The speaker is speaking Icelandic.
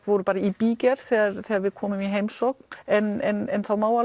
voru bara í bígerð þegar þegar við komum í heimsókn en það má